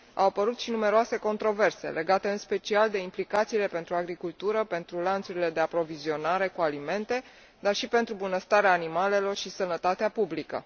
Au apărut și numeroase controverse, legate în special de implicațiile pentru agricultură, pentru lanțurile de aprovizionare cu alimente, dar și pentru bunăstarea animalelor și sănătatea publică.